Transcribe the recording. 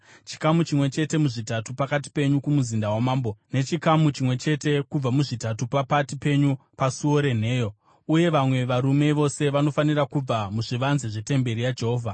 chikamu chimwe chete muzvitatu pakati penyu kumuzinda wamambo, nechikamu chimwe chete kubva muzvitatu pakati penyu pasuo renheyo, uye vamwe varume vose vanofanira kuva muzvivanze zvetemberi yaJehovha.